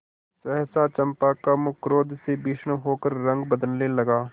सहसा चंपा का मुख क्रोध से भीषण होकर रंग बदलने लगा